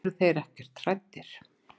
Eru þeir ekkert hræddir?